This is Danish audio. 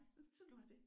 Sådan var det